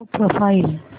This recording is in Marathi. show profile